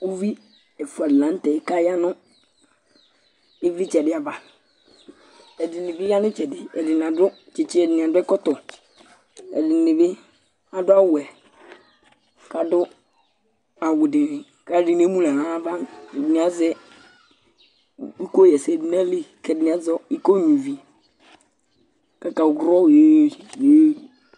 uvi ɛfua di lantɛ k'aya no ivlitsɛ di ava ɛdini bi ya n'itsɛdi ɛdini adu tsitsi ɛdini adu ɛkɔtɔ ɛdini bi adu awu wɛ k'adu awu di ni k'alo ɛdini emu n'ala n'ava ɛdini azɛ iko ɣa ɛsɛ do n'ayili k'ɛdini azɛ iko nyua ivi k'aka wlɔ